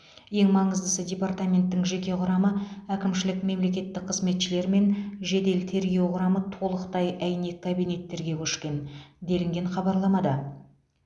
ең маңыздысы департаменттің жеке құрамы әкімшілік мемлекеттік қызметшілер мен жедел тергеу құрамы толықтай әйнек кабинеттерге көшкен делінген хабарламада